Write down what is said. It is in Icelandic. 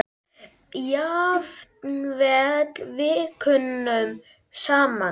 Jafnvel vikunum saman.